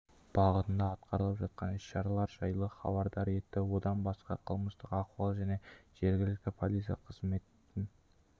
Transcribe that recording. бағытында атқарылып жатқан іс-шаралар жайлы хабардар етті одан басқа қылмыстық ахуал және жергілікті полиция қызметін